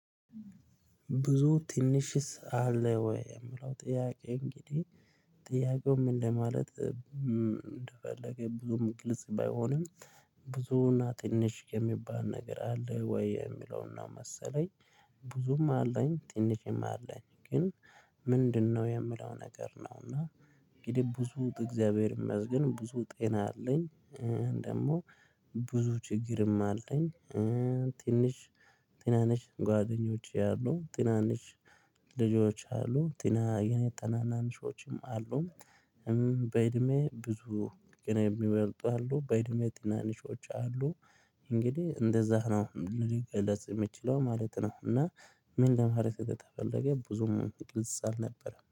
ብዙ ትንሽስ አለ ወይ የምለው ጥያቄ እንግዲህ ጥያቄው ምን ለማለት እንደፈለገ ብዙም ግልጽ ባይሆንም ብዙ እና ትንሽ የሚባል ነገር አለ ወይ የሚለውን ነው መሰለኝ። ብዙም አለኝ ትንሽም አለኝ ግን ምንድነው? የምለው ነገር ነውና እንግዲህ ብዙ እግዚአብሔር ይመስገን ብዙ ጤና አለኝ። ደግሞ ብዙ ችግርም አለኝ። ትንሽ ትናንሽ ጓደኞች ያሉ ትናንሽ ልጆች አሉ ትና ታናናሾችም አሉ። በእድሜ ብዙ ገና የሚበልጡ አሉ በእድሜ ትናንሾች አሉ። እንግዲህ እንደዚያ ነው ልገለፅ የምችለው ማለት ነው። እና ምን ለማለት እንደተፈለገ ብዙም ቅልጽ አልነበረም